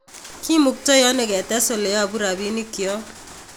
Kimuktai ano ketes oleyopu rapinikyo?